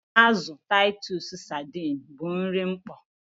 Azụ Taịtus sadiin bụ nri mkpọ.